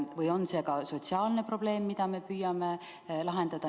Või on see sotsiaalne probleem, mida me püüame lahendada?